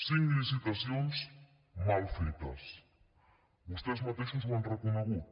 cinc licitacions mal fetes vostès mateixos ho han reconegut